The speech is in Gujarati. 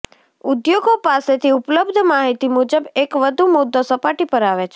ઉદ્યોગો પાસેથી ઉપલબ્ધ માહિતી મુજબ એક વધુ મુદ્દો સપાટી પર આવે છે